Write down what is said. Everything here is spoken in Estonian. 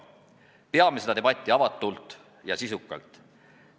Peame seda debatti avatult ja sisukalt.